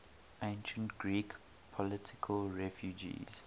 ancient greek political refugees